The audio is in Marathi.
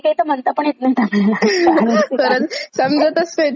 खरंच समजतच नाहीत ते म्हणायची गोष्ट तर खूपच दूर.